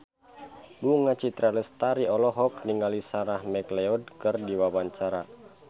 Bunga Citra Lestari olohok ningali Sarah McLeod keur diwawancara